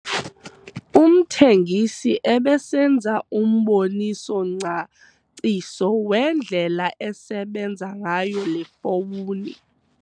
Umthengisi ebesenza umboniso-ngcaciso wendlela esebenza ngayo le fowuni.